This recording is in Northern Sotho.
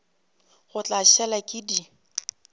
ke tla šala ke di